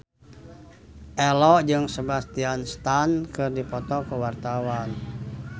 Ello jeung Sebastian Stan keur dipoto ku wartawan